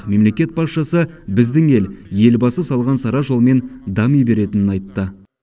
мемлекет басшысы біздің ел елбасы салған сара жолмен дами беретінін айтты